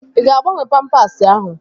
Ị ga-agbanwe pampasi ahụ?